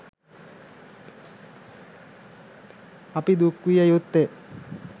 අපි දුක් විය යුත්තේ